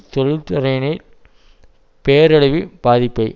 தொழில்துறையில் பேரழிவு பாதிப்பை